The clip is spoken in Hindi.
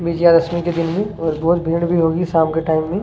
विजय दशमी के दिन और बहुत भीड़ भी होगी शाम के टाइम में --